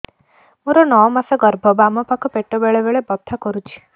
ମୋର ନଅ ମାସ ଗର୍ଭ ବାମ ପାଖ ପେଟ ବେଳେ ବେଳେ ବଥା କରୁଛି